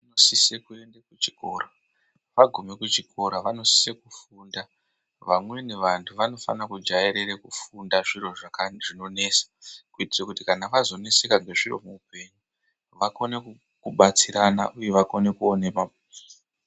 ...sise kuende kuchikora agume kuchikora vanosise kufunda. Vamweni vantu vanofana kujairire kufunda zviro zvinonesa kuti kana vazosaneseka nezviro muupenyu, vakone kubatsirana uye vakone ku...